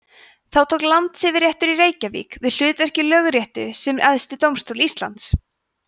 þá tók landsyfirréttur í reykjavík við hlutverki lögréttu sem æðsti dómstóll íslands